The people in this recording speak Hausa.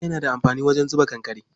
Dutse yana da amfani wajen zuba kankare.